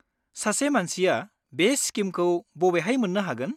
सासे मानसिया बे स्किमखौ बबेहाय मोन्नो हागोन?